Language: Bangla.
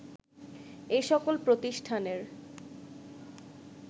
এ সকল প্রতিষ্ঠানের